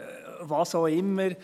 – Was auch immer.